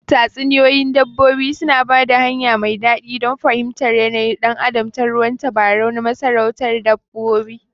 Tatsuniyoyin dabbobi suna ba da hanya mai daɗi don fahimtar yanayin ɗan adam ta ruwan tabarau na masarautar dabbobi.